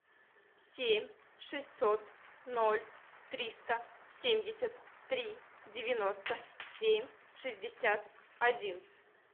семь шестьсот ноль триста семьдесят три девяносто семь шестьдесят один